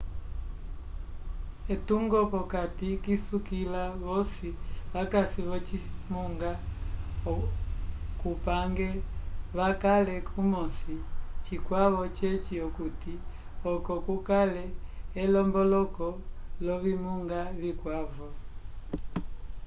etungo p'okati isukila vosi vakasi v'ocimunga cupange vakale kumosi cikwavo ceci okuti oco kukale elomboloko l'ovimunga vikwavo